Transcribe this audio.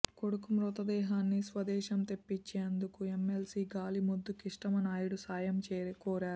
కొడుకు మృతదేహాన్ని స్వదేశం తెప్పించేందుకు ఎమ్మెల్సీ గాలి ముద్దు కృష్ణమ నాయుడు సాయం కోరారు